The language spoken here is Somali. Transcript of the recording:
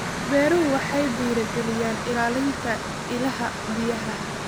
Beeruhu waxay dhiirigeliyaan ilaalinta ilaha biyaha.